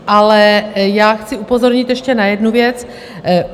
Ale já chci upozornit ještě na jednu věc.